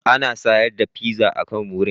Ana sayar da pizza a can wurin.